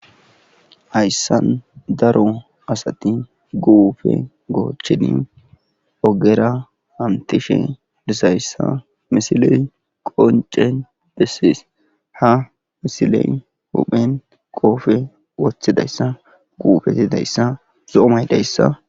Hayssa daro asati guufe goocheni ogera hantishe disayssa misiley qoncen dessis ha misiley huphen qoofe wothidayssa guufetidayssa zoomay dayssa